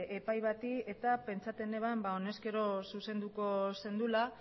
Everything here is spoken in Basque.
epai bati eta pentsatzen neban ba honez gero zuzenduko zenuela